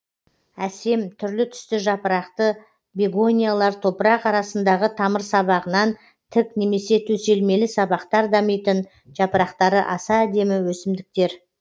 әсем түрлі түсті жапырақты бегониялар топырақ арасындағы тамырсабағынан тік немесе төселмелі сабақтар дамитын жапырақтары аса әдемі өсімдіктер